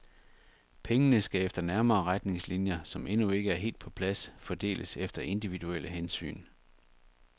Pengene skal efter nærmere retningslinjer, som endnu ikke er helt på plads, fordeles efter individuelle hensyn.